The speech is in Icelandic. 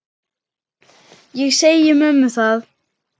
Ég segi mömmu það.